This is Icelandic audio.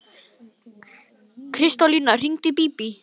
Kristólína, hringdu í Bíbí.